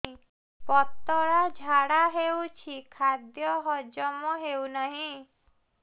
ପତଳା ଝାଡା ହେଉଛି ଖାଦ୍ୟ ହଜମ ହେଉନାହିଁ